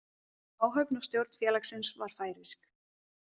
Áhöfn og stjórn félagsins var færeysk.